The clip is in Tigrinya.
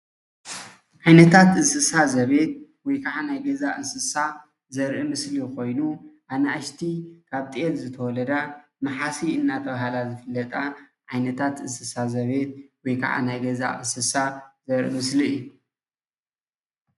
ዓይነታት እንስሳት ዘቤት ወይከዓ ናይ ገዛ እንስሳ ዘርኢ ምስሊ ኮይኑ ኣናእሽቲ ካብ ጤል ዝተወለዳ ማሓሲእ እንዳተባሃላ ዝፍለጣ ዓይነታት እንስሳ ዘቤት ወይከዓ ናይ ገዛ እንስሳ ዘርኢ ምስሊ እዩ።